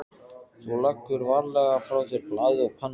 Þú leggur varlega frá þér blaðið og pennann.